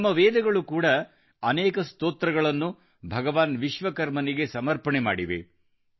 ನಮ್ಮ ವೇದಗಳು ಕೂಡಾ ಅನೇಕ ಸ್ತೋತ್ರಗಳನ್ನು ಭಗವಾನ್ ವಿಶ್ವಕರ್ಮನಿಗೆ ಸಮರ್ಪಣೆ ಮಾಡಿವೆ